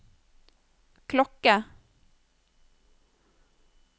klokke